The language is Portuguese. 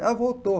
Ela voltou.